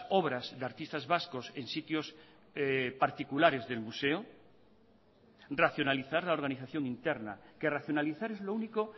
obras de artistas vascos en sitios particulares del museo racionalizar la organización interna que racionalizar es lo único